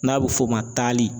N'a bɛ f'o ma taali.